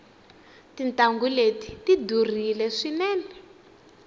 tintangu leti tidurile swinene